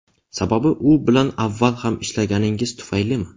Sababi u bilan avval ham ishlaganingiz tufaylimi?